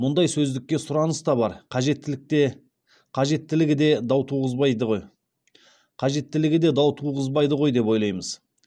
мұндай сөздікке сұраныс та бар қажеттілікте қажеттілігі де дау туғызбайды ғой қажеттілігі де дау туғызбайды ғойдеп ойлаймыз